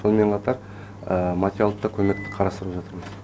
сонымен қатар материалдық та көмекті қарастырып жатырмыз